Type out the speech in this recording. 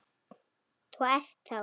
Þú ert þá.?